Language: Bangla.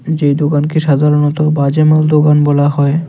যে দোকানকে সাধারণত বাজে মাল দোকান বলা হয়।